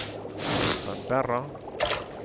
Canberra